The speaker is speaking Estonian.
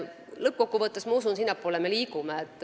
Lõppkokkuvõttes ma usun, et sinnapoole me liigume.